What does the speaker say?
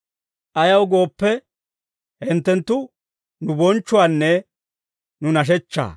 Ayaw gooppe, hinttenttu nu bonchchuwaanne nu nashechchaa.